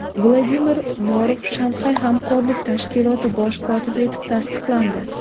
Vladimir Norov Shanxay hamkorlik tashkiloti bosh kotibi etib tasdiqlandi.